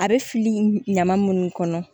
A bɛ fili ɲaman munnu kɔnɔ